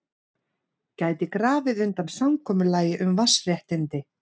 Gæti grafið undan samkomulagi um vatnsréttindi